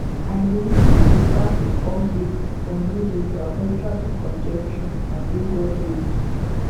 i dey lis ten to traffic updates on radio to avoid traffic congestion on lagos roads